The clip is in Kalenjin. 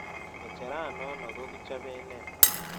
Ng'echeran nono ko kichoben nee